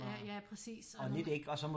Ja ja præcis og nogle